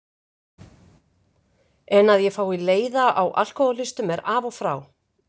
En að ég fái leiða á alkohólistum er af og frá.